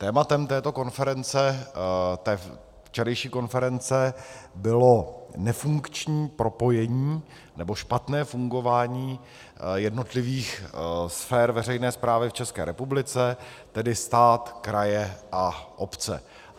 Tématem této konference, té včerejší konference, bylo nefunkční propojení, nebo špatné fungování jednotlivých sfér veřejné správy v České republice, tedy stát, kraje a obce.